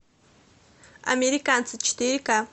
американцы четыре ка